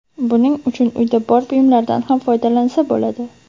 Buning uchun uyda bor buyumlardan ham foydalansa bo‘ladi.